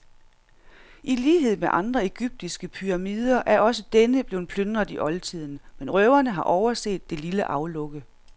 I lighed med andre egyptiske pyramider er også denne blevet plyndret i oldtiden, men røverne har overset det lille aflukke.